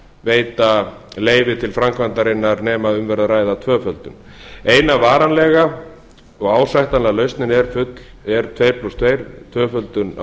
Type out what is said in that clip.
veita leyfi til framkvæmdarinnar nema um verði að ræða tvöföldun eina varanlega og ásættanlega lausnin er tuttugu og tvö tvöföldun á